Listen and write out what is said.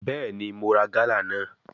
Bẹẹni, Mo ra gala naa